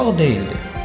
Qorxaq deyildi.